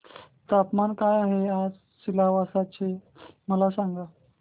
तापमान काय आहे आज सिलवासा चे मला सांगा